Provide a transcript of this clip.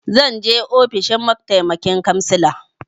Zan je ofishin mataimakin cansala.